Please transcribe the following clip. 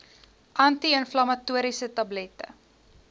anti inflammatoriese tablette